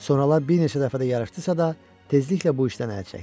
Sonralar bir neçə dəfə də yarışdısa da, tezliklə bu işdən əl çəkdi.